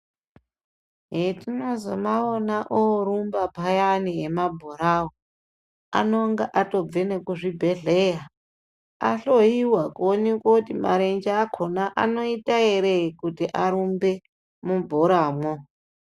Hetinozomaona oorumba payani emabhorawo anonga atobve nekuzvibhohleya ahloyiwa kuoneke kuti marenje akona anoita here kuti arumbe mubhoramwo.